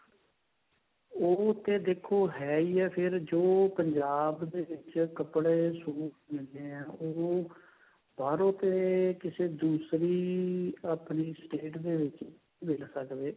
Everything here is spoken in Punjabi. ਉਹ ਤੇ ਦੇਖੋ ਹੈਈ ਐ ਫੇਰ ਜੋ ਪੰਜਾਬ ਦੇ ਵਿੱਚ ਕੱਪੜੇ suit ਮਿਲਦੇ ਨੇ ਉਹ ਬਾਹਰੋ ਤੇ ਕਿਸੇ ਦੂਸਰੀ ਆਪਣੀ state ਦੇ ਵਿੱਚ ਨਹੀਂ ਮਿਲ ਸਕਦੇ